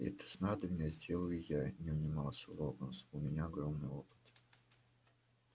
это снадобье сделаю я не унимался локонс у меня огромный опыт